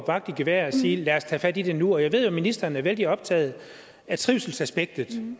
vagt i gevær og sige at tage fat i det nu jeg ved at ministeren er vældig optaget af trivselsaspektet i